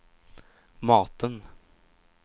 maten